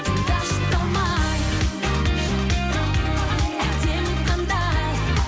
тыңдашы талмай әдемі қандай